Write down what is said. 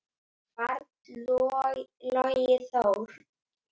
barn: Logi Þór.